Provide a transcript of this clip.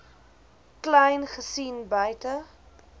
kleyn gesien buite